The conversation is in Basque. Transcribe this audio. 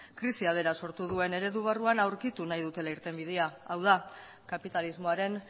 krisia bera sortu duen eredu barruan aurkitu nahi dutela irtenbidea hau da kapitalismoaren